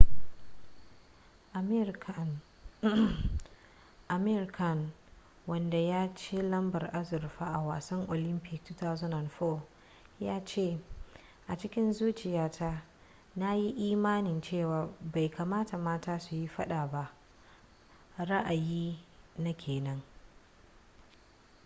amir khan wanda ya ci lambar azurfa a wasan olympic 2004 ya ce a cikin zuciya ta na yi imanin cewa bai kamata mata su yi fada ba ra'ayi na kenan